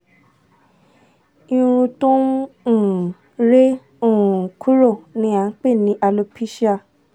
irun to n n um re um kuro ni a npe ni aloepecia